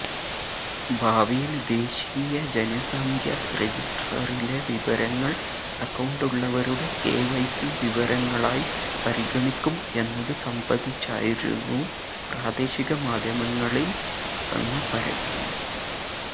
ഭാവിയില് ദേശീയ ജനസംഖ്യ റജിസ്ട്രറിലെ വിവരങ്ങള് അക്കൌണ്ടുള്ളവരുടെ കെവൈസി വിവരങ്ങളായി പരിഗണിക്കും എന്നത് സംബന്ധിച്ചായിരുന്നു പ്രദേശിക മാധ്യമങ്ങളില് വന്ന പരസ്യം